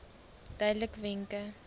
duidelikwenke